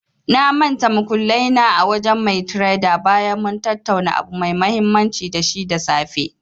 Na mantal muƙullai na a wajen mai tredar bayan mun tattauna abu mai mahimmanci da shi da safe.